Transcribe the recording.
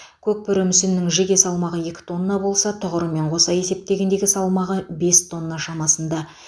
көкбөрі мүсінінің жеке салмағы екі тонна болса тұғырымен қоса есептегендегі салмағы бес тонна шамасында